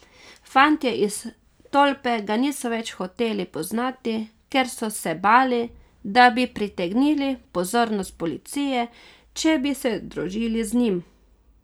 Fantje iz tolpe ga niso več hoteli poznati, ker so se bali, da bi pritegnili pozornost policije, če bi se družili z njim.